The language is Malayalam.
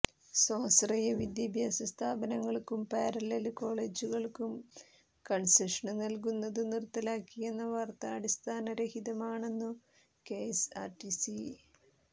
സ്വാശ്രയ വിദ്യാഭ്യാസ സ്ഥാപനങ്ങള്ക്കും പാരലല് കോളേജുകള്ക്കും കണ്സഷന് നല്കുന്നത് നിര്ത്തലാക്കിയെന്ന വാര്ത്ത അടിസ്ഥാനരഹിതമാണെന്നു കെഎസ്ആര്ടിസി